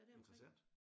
Interessant